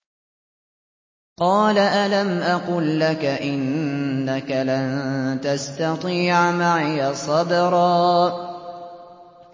۞ قَالَ أَلَمْ أَقُل لَّكَ إِنَّكَ لَن تَسْتَطِيعَ مَعِيَ صَبْرًا